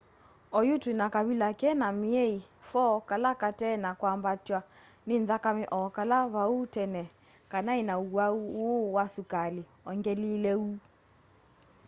oyu twina kavila kena myei 4 kala kate na kwambatwa ni nthakame o kala vau tene kanai na uwau uu wa sukali ongelile uu